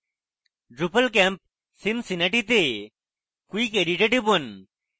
drupalcamp cincinnati তে quick edit এ টিপুন